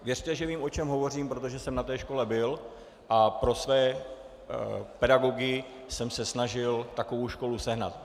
Věřte, že vím, o čem hovořím, protože jsem na této škole byl a pro své pedagogy jsem se snažil takovou školu sehnat.